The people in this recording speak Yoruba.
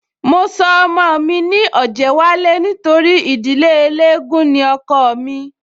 Mo sọ ọmọ mi ní Ọ̀jẹ́wálé nítorí ìdílé eléégún ni ọkọọ̀ mí